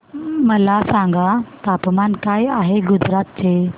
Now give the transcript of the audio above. मला सांगा तापमान काय आहे गुजरात चे